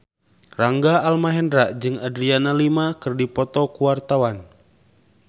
Rangga Almahendra jeung Adriana Lima keur dipoto ku wartawan